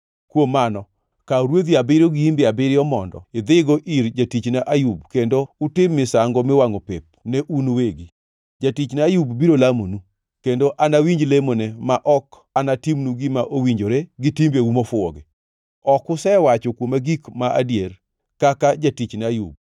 Kuom mano, kaw rwedhi abiriyo gi imbe abiriyo mondo idhigo ir jatichna Ayub kendo utim misango miwangʼo pep ne un uwegi. Jatichna Ayub biro lamonu, kendo anawinj lemone ma ok anatimnu gima owinjore gi timbeu mofuwogi. Ok usewacho kuoma gik ma adier, kaka jatichna Ayub.”